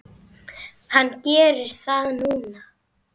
Hann gerir það núna.